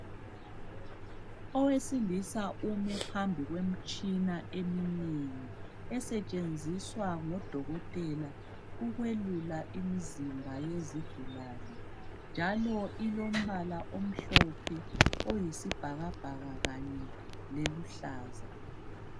Owesilisa ume phambi kwemitshina eminengi, esetshenziswa ngodokotela ukwelula imizimba yezigulane njalo ilombala omhlophe, oyisibhakabhaka kanye leluhlaza.